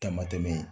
Tamatɛ